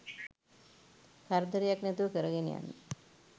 කරදරයක් නැතුව කරගෙන යන්න